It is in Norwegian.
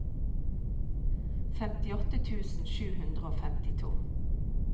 femtiåtte tusen sju hundre og femtito